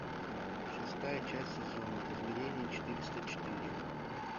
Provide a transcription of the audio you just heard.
шестая часть сезона измерение четыреста четыре